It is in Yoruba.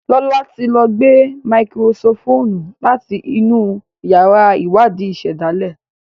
Lọla tí ló gbé Máíkírósíkópù láti inú yàrá Iwadi ìsèdálè.